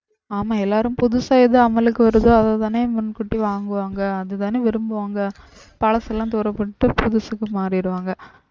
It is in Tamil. ஆமா எல்லாரும் புதுசா எது அமலுக்கு வருதோ அததானே முன்கூட்டி வாங்குவாங்க அதுதானே விரும்புவாங்க பழசெல்லாம் தூரப்போட்டு புதுசுக்கு மாறிடுவாங்க